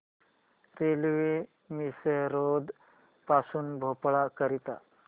railway Misrod पासून भोपाळ करीता